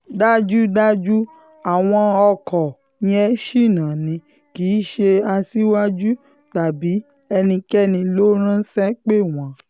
dájúdájú àwọn ọkọ yẹn ṣìnà ni kì í ṣe aṣíwájú tàbí ẹnikẹ́ni ló ránṣẹ́ pè wọ́n